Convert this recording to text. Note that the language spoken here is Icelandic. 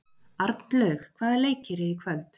Arnlaug, hvaða leikir eru í kvöld?